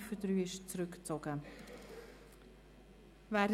die Ziffer 3 ist zurückgezogen worden.